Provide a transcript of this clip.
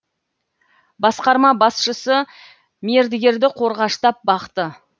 басқарма басшысы мердігерді қорғаштап бақты